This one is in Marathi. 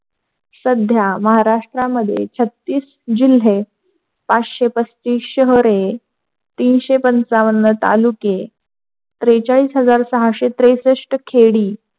सध्या महाराष्ट्रमध्ये छत्तिस जिल्हे पाचसे पस्तीस शहरे तीनशे पंचावन्न तालुके त्रेचालीस हजार साहसे त्रेशष्ट खेडी,